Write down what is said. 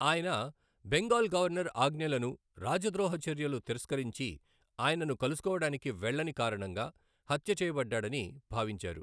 ఆయన బెంగాల్ గవర్నర్ ఆజ్ఞలను రాజద్రోహ చర్యలు తిరస్కరించి ఆయనను కలుసుకోవడానికి వెళ్ళని కారణంగా హత్యచేయబడ్డాడని భావించారు.